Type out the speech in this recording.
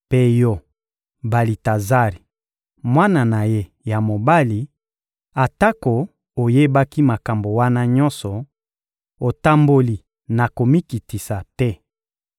Mpe yo Balitazari, mwana na ye ya mobali, atako oyebaki makambo wana nyonso, otamboli na komikitisa te.